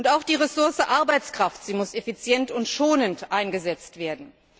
Auch die Ressource Arbeitskraft muss effizient und schonend eingesetzt werden.